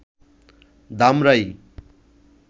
Dhamrai